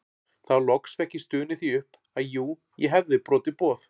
Þá loks fékk ég stunið því upp að jú ég hefði brotið boð